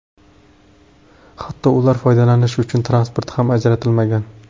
Hatto ular foydalanishi uchun transport ham ajratilmagan.